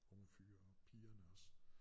Unge fyre og pigerne også